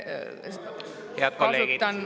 Head kolleegid!